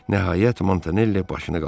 Nəhayət Montanelli başını qaldırdı.